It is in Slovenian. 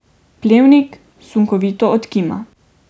Plevnik sunkovito odkima.